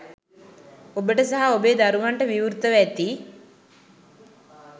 ඔබට සහ ඔබේ දරුවන්ට විවෘතව ඇති